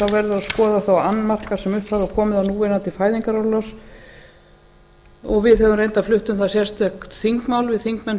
að skoða þá annmarka sem upp hafa komið á núverandi fæðingarorlofslögum og við höfum reyndar flutt um það sérstakt þingmál við þingmenn